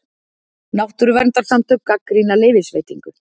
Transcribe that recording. Náttúruverndarsamtök gagnrýna leyfisveitingu